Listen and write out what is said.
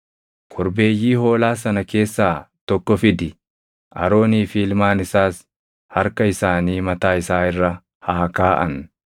“Korbeeyyii hoolaa sana keessaa tokko fidi; Aroonii fi ilmaan isaas harka isaanii mataa isaa irra haa kaaʼan.